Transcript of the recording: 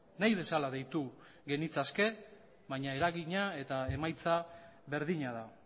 nahi bezala deitu genitzake baina eragina eta emaitza berdina da